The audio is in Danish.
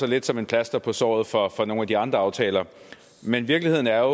lidt som et plaster på såret for nogle af de andre aftaler men virkeligheden er